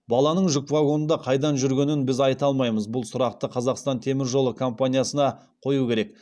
баланың жүк вагонында қайдан жүргенін біз айта алмаймыз бұл сұрақты қазақстан темір жолы компаниясына қою керек